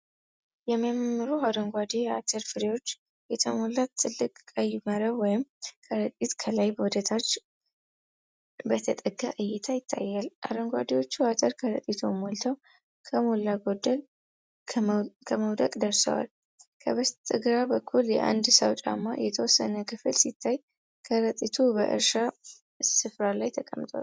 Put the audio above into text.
የሚያማምሩ አረንጓዴ አተር ፍሬዎች የተሞላ ትልቅ ቀይ መረብ ወይም ከረጢት ከላይ ወደ ታች በተጠጋ እይታ ይታያል። አረንጓዴዎቹ አተር ከረጢቱን ሞልተው ከሞላ ጎደል ከመውደቅ ደርሰዋል። ከበስተግራ በኩል የአንድን ሰው ጫማ የተወሰነ ክፍል ሲታይ፤ ከረጢቱ በእርሻ ስፍራ ላይ ተቀምጧል።